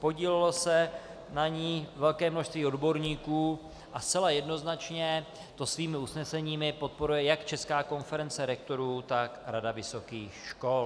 Podílelo se na ní velké množství odborníků a zcela jednoznačně to svými usneseními podporuje jak Česká konference rektorů, tak Rada vysokých škol.